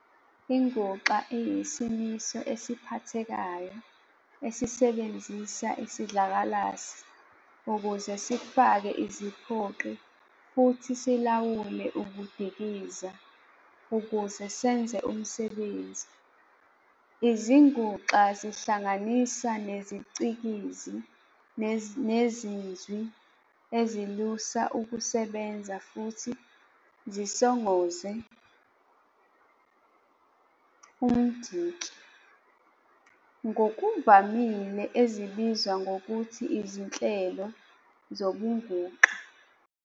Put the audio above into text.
INguxa iyisimiso esiphathekayo esisebenzisa isidlakalasi ukuze sifake iziphoqi futhi silawule ukudikiza ukuze senze umsebenzi. Izinguxa zingahlanganisa neziCikizi neziNzwi ezilusa ukusebenza futhi zisongoze umdiki, ngokuvamile ezibizwa ngokuthi izinhlelo zobunguxa.